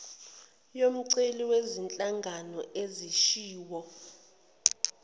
yomceli wezinhlanga ezishiwo